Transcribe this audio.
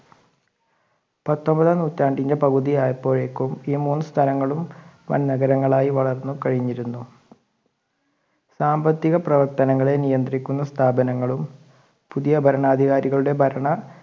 പത്തൊൻപതാം നൂറ്റാണ്ടിന്റെ പകുതി ആയപ്പോഴേക്കും ഈ മൂന്ന് സ്ഥലങ്ങളും വൻ നഗരങ്ങൾ ആയി വളർന്നു കഴിഞ്ഞിരുന്നു. സാമ്പത്തിക പ്രവർത്തന ങ്ങളെ നിയന്ത്രിക്കുന്ന സ്ഥാപനങ്ങളും പുതിയ ഭരണാധികാരികളുടെ ഭരണ